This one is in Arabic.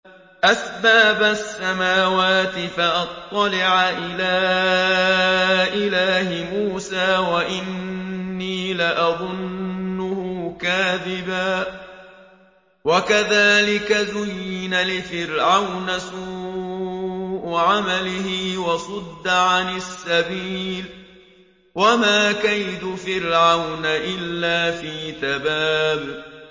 أَسْبَابَ السَّمَاوَاتِ فَأَطَّلِعَ إِلَىٰ إِلَٰهِ مُوسَىٰ وَإِنِّي لَأَظُنُّهُ كَاذِبًا ۚ وَكَذَٰلِكَ زُيِّنَ لِفِرْعَوْنَ سُوءُ عَمَلِهِ وَصُدَّ عَنِ السَّبِيلِ ۚ وَمَا كَيْدُ فِرْعَوْنَ إِلَّا فِي تَبَابٍ